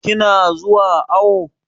Ki na zuwa awo?